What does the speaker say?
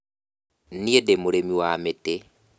Niĩ ndĩ mũrĩmi wa mĩtĩ